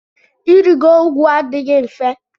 Irigo ugwu adịghị mfe.